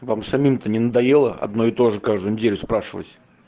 вам самим то не надоело одно и то же каждую неделю спрашивать